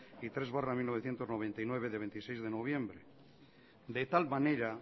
y tres barra mil novecientos noventa y nueve de veintiséis de noviembre de tal manera